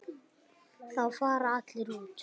Þá fara allir út.